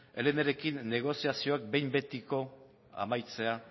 elnrekin negoziazioak behin betiko amaitzea